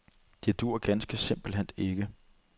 Det duer ganske simpelt ikke.